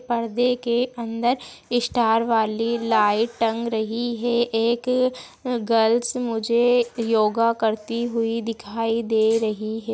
परदे के अन्दर स्टार वाली लाइट टंग रही है एक गर्ल्स मुझे योगा करती हुई दिखाई दे रही है।